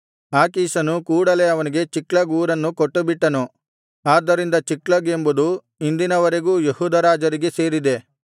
ಆಕೀಷನು ಕೂಡಲೇ ಅವನಿಗೆ ಚಿಕ್ಲಗ್ ಊರನ್ನು ಕೊಟ್ಟುಬಿಟ್ಟನು ಆದ್ದರಿಂದ ಚಿಕ್ಲಗ್ ಎಂಬುದು ಇಂದಿನವರೆಗೂ ಯೆಹೂದ ರಾಜರಿಗೆ ಸೇರಿದೆ